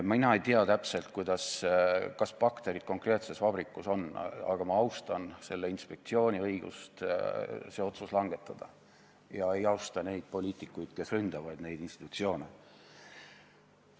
Mina ei tea täpselt, kas bakterid konkreetses vabrikus on, aga ma austan selle inspektsiooni õigust see otsus langetada, aga ei austa neid poliitikuid, kes neid institutsioone ründavad.